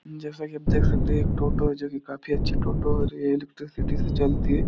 जैसा कि आप देख सकते है एक टोटो है जो कि काफी अच्छी टोटो है और ये इलेक्ट्रिसिटी से चलती है।